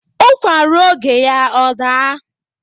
Ụkwa ruo oge ya ọ daa